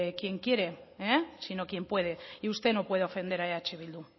quien quiere sino quien puede y usted no puede ofender a eh bildu